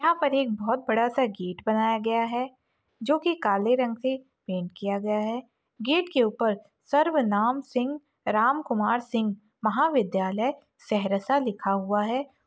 यहां पर बहुत बड़ा सा गेट बनाया गया है जो की काले रंग से पेंट किया गया है गेट के ऊपर सर्व नाम सिंह राम कुमार सिंह महाविद्यालय सहरसा लिखा हुआ है।